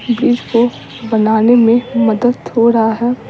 बीज को बनाने में मदद हो रहा है।